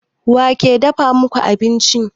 Wa ke dafa muku abinci?